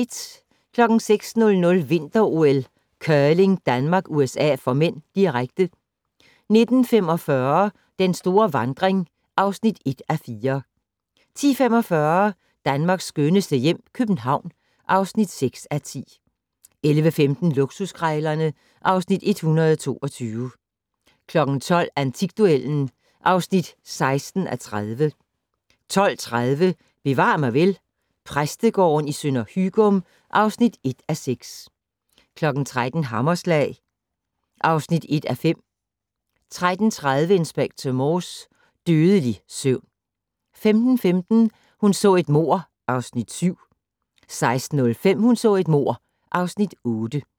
06:00: Vinter-OL: Curling - Danmark-USA (m), direkte 09:45: Den store vandring (1:4) 10:45: Danmarks skønneste hjem - København (6:10) 11:15: Luksuskrejlerne (Afs. 122) 12:00: Antikduellen (16:30) 12:30: Bevar mig vel: Præstegården i Sønder Hygym (1:6) 13:00: Hammerslag (1:5) 13:30: Inspector Morse: Dødelig søvn 15:15: Hun så et mord (Afs. 7) 16:05: Hun så et mord (Afs. 8)